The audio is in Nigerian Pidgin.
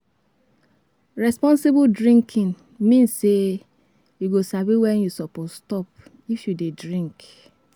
Responsible drinking mean say you go sabi when you suppose stop if you dey drink.